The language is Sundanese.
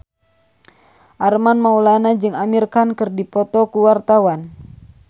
Armand Maulana jeung Amir Khan keur dipoto ku wartawan